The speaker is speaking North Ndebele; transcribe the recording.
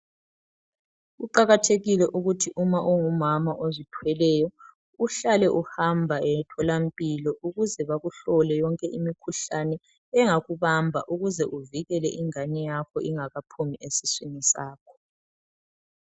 Kuqakathekile ukuthi uma ungumama ozithweleyo uhlale uhamba emtholampilo ukuze bakuhlole yonke imikhuhlane engakubamba ukuze uvikele ingane yakho ingakaphumi esiswini sakho.